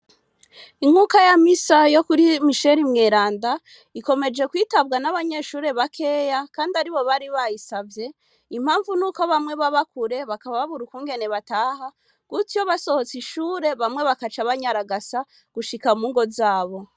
Inkuka ya misa yo kuri misheri mweranda ikomeje kwitabwa n'abanyeshure bakeya kandi aribo bari bayisavye. Impamvu nuko bamwe baba kure bakaba babura ukungene bataha gutyo basohotse ishure bamwe bagaca banyaragasa gushika mungo zabo.